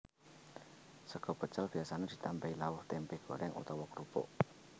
Sega pecel biasa ditambahi lawuh tèmpé gorèng utawa krupuk